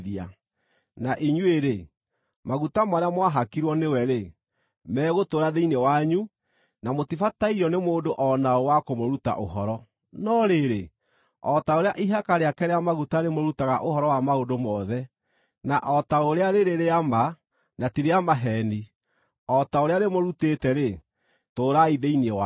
Na inyuĩ-rĩ, maguta marĩa mwahakirwo nĩwe-rĩ, megũtũũra thĩinĩ wanyu, na mũtibatairio nĩ mũndũ o na ũ wa kũmũruta ũhoro. No rĩrĩ, o ta ũrĩa ihaka rĩake rĩa maguta rĩmũrutaga ũhoro wa maũndũ mothe, na o ta ũrĩa rĩrĩ rĩa ma, na ti rĩa maheeni: o ta ũrĩa rĩmũrutĩĩte-rĩ, tũũrai thĩinĩ wake.